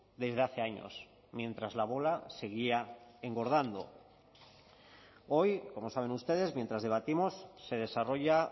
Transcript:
desde hace años mientras la bola seguía engordando hoy como saben ustedes mientras debatimos se desarrolla